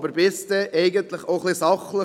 Aber bitte auch etwas sachlich.